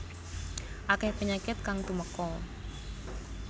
Akeh penyakit kang tumeka